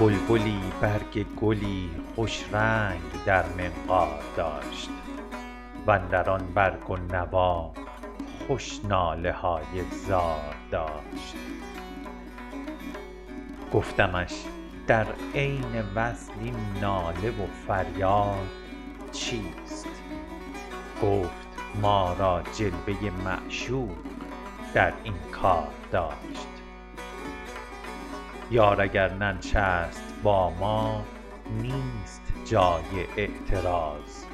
بلبلی برگ گلی خوش رنگ در منقار داشت و اندر آن برگ و نوا خوش ناله های زار داشت گفتمش در عین وصل این ناله و فریاد چیست گفت ما را جلوه ی معشوق در این کار داشت یار اگر ننشست با ما نیست جای اعتراض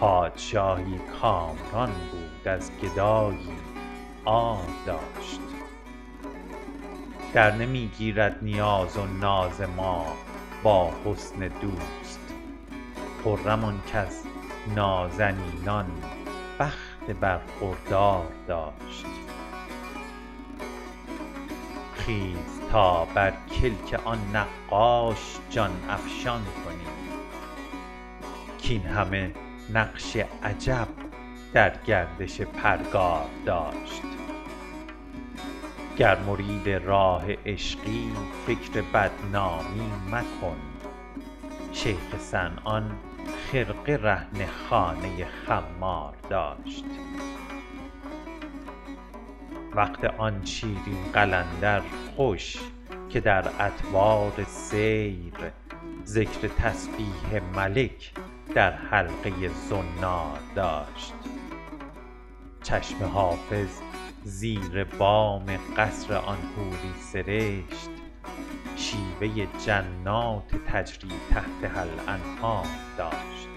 پادشاهی کامران بود از گدایی عار داشت درنمی گیرد نیاز و ناز ما با حسن دوست خرم آن کز نازنینان بخت برخوردار داشت خیز تا بر کلک آن نقاش جان افشان کنیم کاین همه نقش عجب در گردش پرگار داشت گر مرید راه عشقی فکر بدنامی مکن شیخ صنعان خرقه رهن خانه خمار داشت وقت آن شیرین قلندر خوش که در اطوار سیر ذکر تسبیح ملک در حلقه ی زنار داشت چشم حافظ زیر بام قصر آن حوری سرشت شیوه ی جنات تجری تحتها الانهار داشت